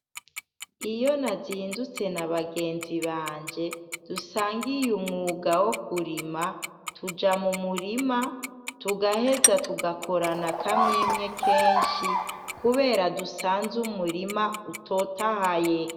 Iyo nazindutse na bagenzi banje dusangiye umwuga wo kurima, tuja mu murima tugaheza tugakorana akamwemwe kenshi kubera dusanze umurima utotahaye.